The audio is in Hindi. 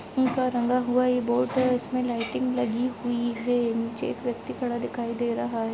रंगा हुआ एक बोर्ड है जिसमे लाइटिंग लगी हुई है नीचे एक व्यक्ति खड़ा दिखाई दे रहा हैं।